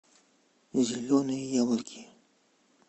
зеленые яблоки